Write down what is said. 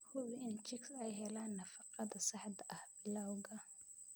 Hubi in chicks ay helaan nafaqada saxda ah bilowga.